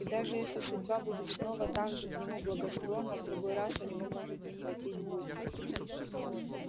и даже если судьба будет снова так же к нему благосклонна в другой раз у него может не хватить духу